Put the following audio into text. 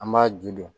An b'a ju don